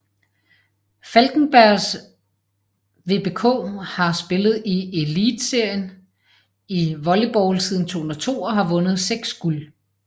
Falkenbergs VBK har spillet i Elitserien i volleybold siden 2002 og har vundet seks guld